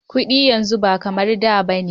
Kudi yanzu ba kamar da ba ne.